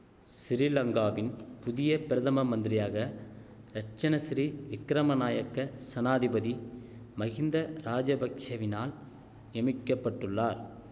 சிறிலங்காவின் புதிய பிரதம மந்திரியாக ரட்ணசிறி விக்கிரம நாயக்க சனாதிபதி மகிந்த ராஜபக்ஷெவினால் நியமிக்க பட்டுள்ளார்